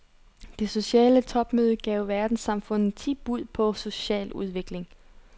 Det sociale topmøde gav verdenssamfundet ti bud på social udvikling.